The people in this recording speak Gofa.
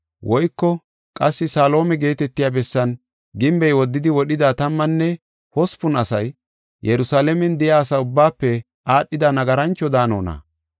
Woyko qassi Salihoome geetetiya bessan gimbey woddidi wodhida tammanne hospun asay Yerusalaamen de7iya asa ubbaafe aadhida nagarancho daanonna?